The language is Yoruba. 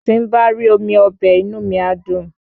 Tí n̄ bá rí omi ọbẹ̀, inú mi á dùn